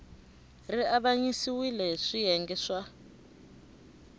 ri avanyisiwile hi swiyenge swa